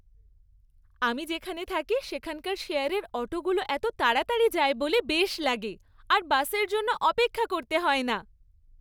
আমি যেখানে থাকি সেখানকার শেয়ারের অটোগুলো এত তাড়াতাড়ি যায় বলে বেশ লাগে, আর বাসের জন্য অপেক্ষা করতে হয় না।